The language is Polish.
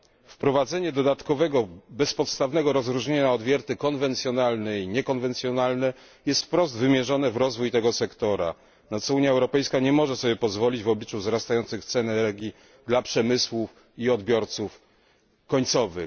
Wprowadzenie dodatkowego, bezpodstawnego, rozróżnienia na odwierty konwencjonalne i niekonwencjonalne jest wprost wymierzone w rozwój tego sektora, na co Unia Europejska nie może sobie pozwolić w obliczu wzrastających cen energii dla przemysłu i odbiorców końcowych.